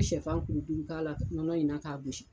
I bɛ siyɛfan kuru duuru k'a la k'a gosi.